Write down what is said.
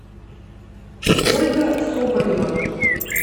ольга соболева